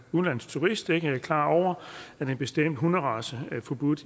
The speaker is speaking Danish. udenlandsk turist ikke er klar over at en bestemt hunderace er forbudt